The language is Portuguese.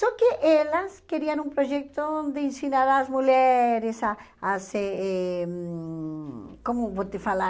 Só que elas queriam um projeto onde ensinaram as mulheres a a se eh... Como vou te falar?